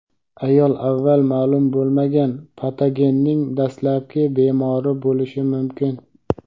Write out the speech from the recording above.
ayol avval ma’lum bo‘lmagan patogenning dastlabki bemori bo‘lishi mumkin.